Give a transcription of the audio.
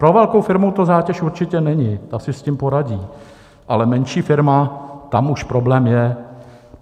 Pro velkou firmu to zátěž určitě není, ta si s tím poradí, ale menší firma, tam už problém je.